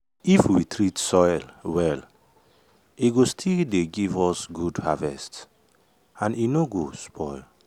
if we treat soil well e go still dey give us good harvest um and e no go spoil.